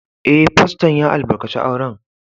Eh, Fasto'n ya albarkace auren.